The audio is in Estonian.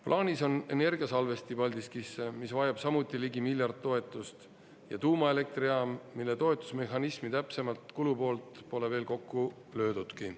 Plaanis on energiasalvesti Paldiskisse, mis vajab samuti ligi miljard toetust, ja tuumaelektrijaam, mille toetusmehhanismi täpsemat kulupoolt pole veel kokku löödudki.